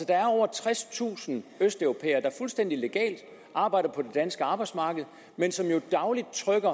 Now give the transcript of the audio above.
er over tredstusind østeuropæere der fuldstændig legalt arbejder på det danske arbejdsmarked men som jo dagligt trykker